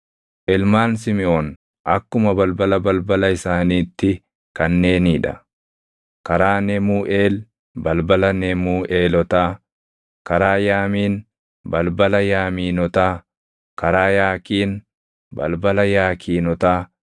Ilmaan Simiʼoon akkuma balbala balbala isaaniitti kanneenii dha: karaa Nemuuʼeel, balbala Nemuuʼeelotaa; karaa Yaamiin, balbala Yaamiinotaa; karaa Yaakiin, balbala Yaakiinotaa;